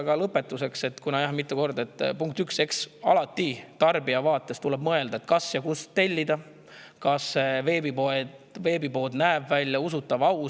Ja lõpetuseks tarbijal tuleb alati mõelda, kas ja kust tellida, kas veebipood näeb välja usutav ja aus.